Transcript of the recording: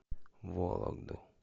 вологду